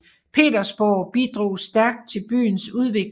Petersborg bidrog stærkt til byens udvikling